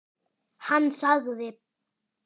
Hann sagði.